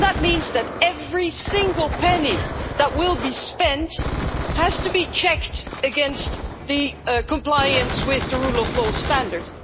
That means that every single penny that will be spent has to be checked against compliance with the rule of law standards.